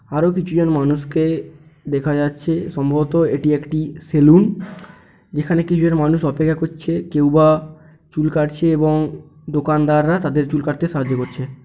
আরো কিছু জন মানুষকে দেখা যাচ্ছে সম্ভবত এটি একটি সেলুন । যেখানে কিছু জন মানুষ অপেক্ষা করছে কেউবা চুল কাটছে এবং দোকানদাররা তাদের চুল কাটতে সাহায্য করছে।